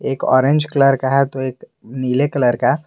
एक orange colour का है तो एक नीले कलर का।